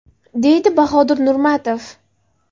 deydi Bahodir Nurmatov.